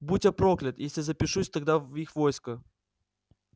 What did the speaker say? будь я проклят если запишусь тогда в их войско